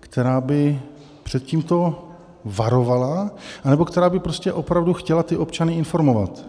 která by před tímto varovala anebo která by prostě opravdu chtěla ty občany informovat.